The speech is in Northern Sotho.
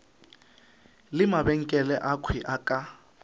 le mabenkele akhwi a ka